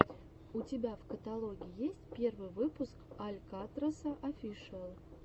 у тебя в каталоге есть первый выпуск алькатраса офишиал